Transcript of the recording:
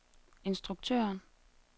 instruktøren